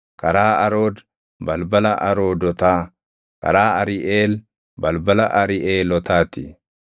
karaa Arood, balbala Aroodotaa; karaa Ariʼeel, balbala Ariʼeelotaa ti.